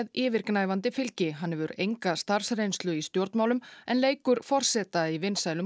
yfirgnæfandi fylgi hann hefur enga starfsreynslu í stjórnmálum en leikur forseta í vinsælum